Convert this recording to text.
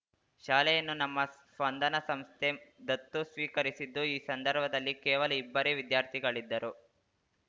ಶಾಲೆಯನ್ನು ನಮ್ಮ ಸ್ಪಂದನ ಸಂಸ್ಥೆ ದತ್ತು ಸ್ವೀಕರಿಸಿದ್ದು ಈ ಸಂದರ್ಭದಲ್ಲಿ ಕೇವಲ ಇಬ್ಬರೇ ವಿದ್ಯಾರ್ಥಿಗಳಿದ್ದರು